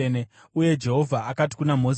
Uye Jehovha akati kuna Mozisi,